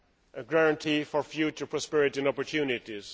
a guarantee for future prosperity and opportunities.